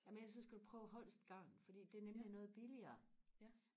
jamen ellers så skal du prøve holst garn fordi det er nemlig noget billigere